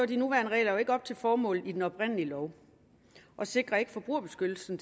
de nuværende regler ikke op til formålet i den oprindelige lov og sikrer ikke forbrugerbeskyttelsen